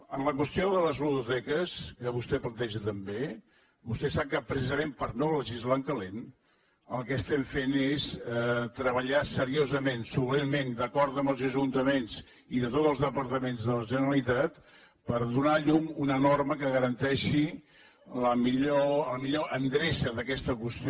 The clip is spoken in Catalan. en la qüestió de les ludoteques que vostè planteja també vostè sap que precisament per no legislar en calent el que estem fent és treballar seriosament solventment d’acord amb els ajuntaments i amb tots els departaments de la generalitat per donar llum a una norma que garanteixi la millor endreça d’aquesta qüestió